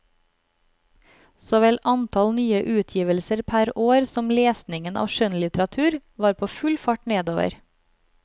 Såvel antall nye utgivelser per år som lesningen av skjønnlitteratur var på full fart nedover.